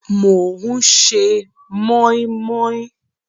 Mò ń ṣe mọ́í mọ́í